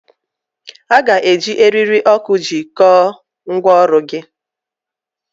A ga-eji eriri oku jikọọ ngwaọrụ gị.